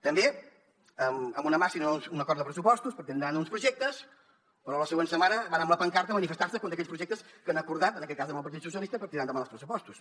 també amb una mà amb un acord de pressupostos per tirar endavant uns projectes però a la següent setmana van amb la pancarta a manifestar se contra aquells projectes que han acordat en aquest cas amb el partit socialista per tirar endavant els pressupostos